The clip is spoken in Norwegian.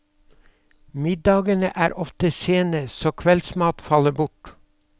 Middagene er ofte sene, så kveldsmat faller bort.